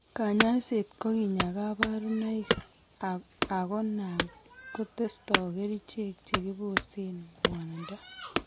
Kanyaiset ko kinyaa kabarunaik ago nan kotesto kerichek chekibosen ngwanindo